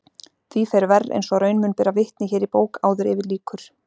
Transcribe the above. Því fer verr eins og raun mun bera vitni hér í bók áður yfir lýkur.